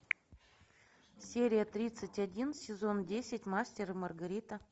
серия тридцать один сезон десять мастер и маргарита